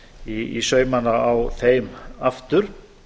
í saumana á þeim aftur